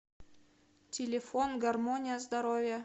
телефон гармония здоровья